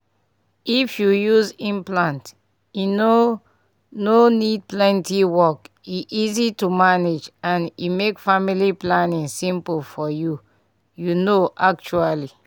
if you use implant e no no need plenty work — e easy to manage and e make family planning simple for you you know actually.